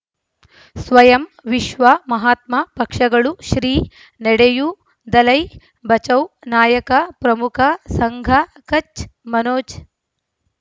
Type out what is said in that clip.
ಸ್ವಯಂ ವಿಶ್ವ ಮಹಾತ್ಮ ಪಕ್ಷಗಳು ಶ್ರೀ ನಡೆಯೂ ದಲೈ ಬಚೌ ನಾಯಕ ಪ್ರಮುಖ ಸಂಘ ಕಚ್ ಮನೋಜ್